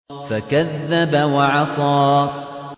فَكَذَّبَ وَعَصَىٰ